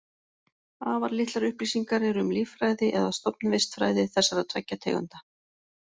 Afar litlar upplýsingar eru um líffræði eða stofnvistfræði þessara tveggja tegunda.